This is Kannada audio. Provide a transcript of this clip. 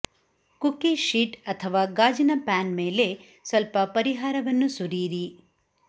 ಕುಕಿ ಶೀಟ್ ಅಥವಾ ಗಾಜಿನ ಪ್ಯಾನ್ ಮೇಲೆ ಸ್ವಲ್ಪ ಪರಿಹಾರವನ್ನು ಸುರಿಯಿರಿ